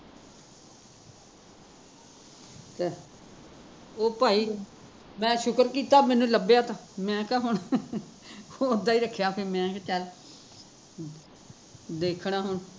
ਅੱਛਾ ਓ ਭਾਈ, ਮੈਂ ਸ਼ੁਕਰ ਕੀਤਾ ਮੈਂਨੂੰ ਲੱਭਿਆ ਤਾਂ ਮੈਂ ਕਿਹਾ ਹੁਣ ਓਦਾ ਈ ਰੱਖਿਆ ਮੈਂ ਕਿਹਾ ਚੱਲ ਦੇਖਣਾ ਹੁਣ